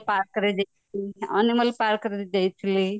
park ରେ ଦେଖିଥିଲି animal park ଦେଇଥିଲି